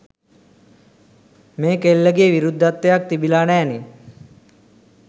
මේ කෙල්ලගේ විරුද්ධත්වයක් තිබිලා නෑනේ.